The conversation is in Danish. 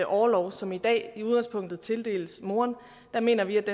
orlov som i dag i udgangspunktet tildeles moren der mener vi at